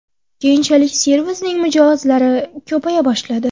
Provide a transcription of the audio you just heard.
Keyinchalik servisning mijozlari ko‘paya boshladi.